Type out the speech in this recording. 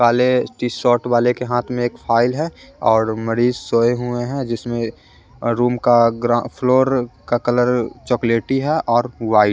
काले T shirt वाले के हाथ में एक फाइल है और मरीज़ सोए हुए हैं जिसमें अ रूम का ग्रा फ्लोर का कलर चॉकलेटी हैऔर वाइट --